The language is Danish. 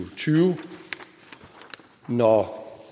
tyve og når